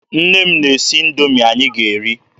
Nne m na-esi Indoomi anyị ga eri.